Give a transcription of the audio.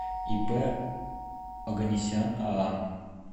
ип оганесян аа